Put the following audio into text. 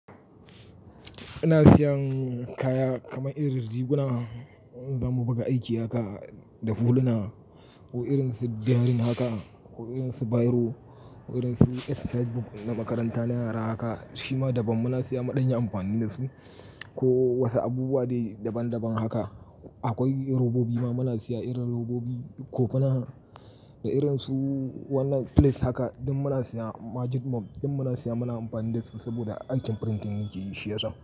Ina siyan kaya kamar irin riguna, zamu buga aiki haka da huluna ko irin su diarin haka ko irin su biro ko irin su exercise book na makaranta na yara haka, shi ma daban muna siya, mu danya amfani da su ko wasu abubuwa dai daban daban haka. Akwai robobi ma muna siya irin robobi kopina da irin su wannan files haka, din muna siya majib mop din muna siya muna amfani da su saboda aikin printing muke yashi yasa.